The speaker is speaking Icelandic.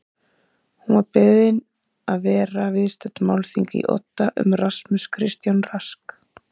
Hún var beðin að vera viðstödd málþing í Odda um Rasmus Kristján Rask